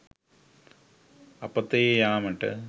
අපතේ යාමට